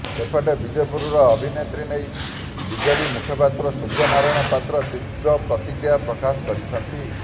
ସେପଟେ ବିଜେପିର ଅଭିଯୋଗ ନେଇ ବିଜେଡି ମୁଖପାତ୍ର ସୂର୍ଯ୍ୟ ନାରାୟଣ ପାତ୍ର ତୀବ୍ର ପ୍ରତିକ୍ରିୟା ପ୍ରକାଶ କରିଛନ୍ତି